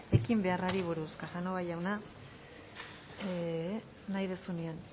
ekin beharrari buruz casanova jauna nahi duzunean